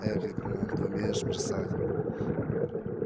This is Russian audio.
ээ крикнул он ты умеешь бросать